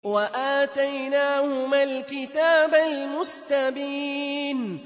وَآتَيْنَاهُمَا الْكِتَابَ الْمُسْتَبِينَ